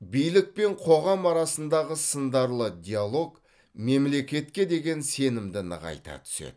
билік пен қоғам арасындағы сындарлы диалог мемлекетке деген сенімді нығайта түседі